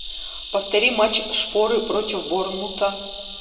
повтори матч шпоры против борнмута